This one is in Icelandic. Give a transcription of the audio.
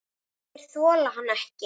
Þeir þola hann ekki.